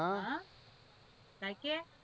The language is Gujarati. હ કૈક કે